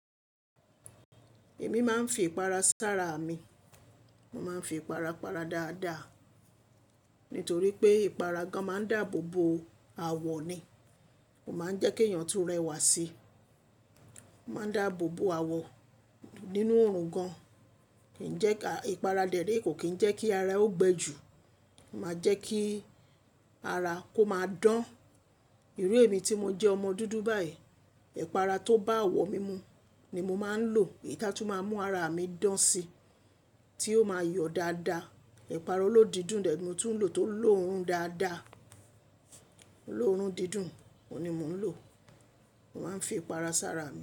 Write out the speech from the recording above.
Èmi máa ń fi ìpara sára mi. Mo máa ń fi ìpara para dáadáa, nítorí pé ìpara gan máa ń dáàbò bo àwọ̀ ni. Kò máa ń jẹ́ kí èèyàn tún rẹwà sí. Ma ń dáàbò bo àwọ̀ nínú òòrùn gan. Kì í jẹ́ ká-- ìpara dèérè kò kì í jẹ́ kí ara ó gbẹ ju, máa jẹ́ kí ara kó máa dán. Irú èmi tí mo jẹ́ ọmọ dúdú báyìí, ìpara tó bá àwọ̀ mímú ni mo máa ń lò. Èyí táa tún máa ń mú ara mi dán sí, tí ó máa yọ̀ dáadáa. Ìpara olódìdùn dè mó tún lò tó lò orun dáadáa. Lò orun dídùn, òun ni mò ń lò. Mo máa ń fi ìpara sára mí.